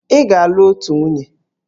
Ị ga-alụ otu nwunye!